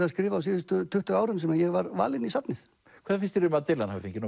að skrifa á síðustu tuttugu árum sem ég var valinn í safnið hvað finnst þér um að Dylan hafi fengið